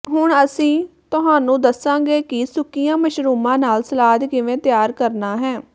ਹੁਣ ਅਸੀਂ ਤੁਹਾਨੂੰ ਦੱਸਾਂਗੇ ਕਿ ਸੁੱਕੀਆਂ ਮਸ਼ਰੂਮਾਂ ਨਾਲ ਸਲਾਦ ਕਿਵੇਂ ਤਿਆਰ ਕਰਨਾ ਹੈ